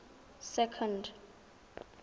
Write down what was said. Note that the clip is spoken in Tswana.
second